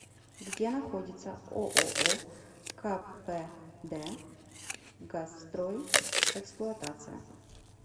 где находится ооо кпд газстрой эксплуатация